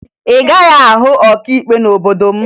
Ị gaghị ahụ ọkaikpe n'obodo m